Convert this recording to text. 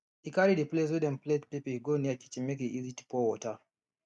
e carry the place wey dem plate pepper go near kitchen make e easy to pour water